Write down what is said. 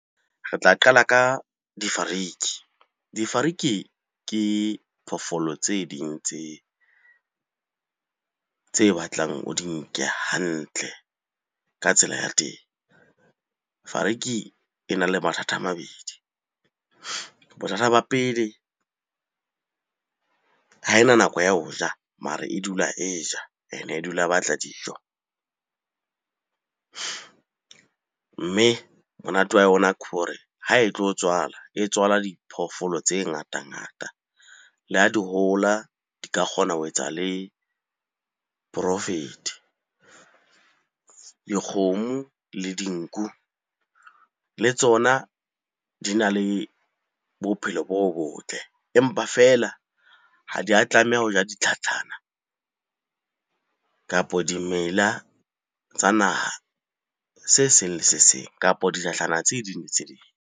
Re tla qala ka difariki. Difariki ke phoofolo tse ding tse batlang o di nke hantle ka tsela ya teng. Fariki e na le mathata a mabedi. Bothata ba pele, ha ena nako ya ho ja mare e dula e ja and-e dula batla dijo. Mme monate wa yona ke hore ha e tlo tswala, e tswala diphoofolo tse ngata-ngata. Le ha di hola di ka kgona ho etsa le profit-e. Dikgomo le dinku le tsona di na le bophelo bo botle, empa feela ha di a tlameha ho ja ditlhatlhana kapo dimela tsa naha se seng le se seng. Kapo ditlhatlhana tse ding le tse ding.